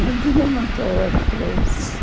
Não tinha muita ordem para isso.